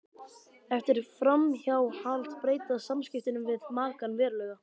Eftir framhjáhald breytast samskiptin við makann verulega.